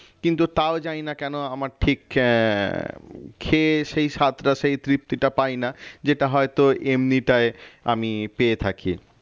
কিন্তু তাও জানিনা কেন আমার ঠিক আহ খেয়ে সেই স্বাদটা সেই তৃপ্তিটা পায়না যেটা হয়তো এমনিটাই আমি পেয়ে থাকি